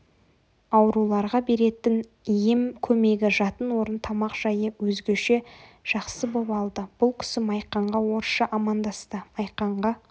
ауруларға беретін ем көмегі жатын-орын тамақжайы өзгеше жақсы боп алды бұл кісі майқанға орысша амандасты майқанға